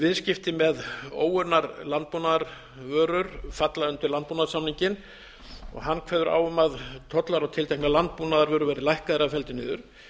viðskipti með óunnar landbúnaðarvörur falla undir landbúnaðarsamninginn og kveður hann á um að tollar á tilteknar landbúnaðarvörur verði lækkaðir eða felldir niður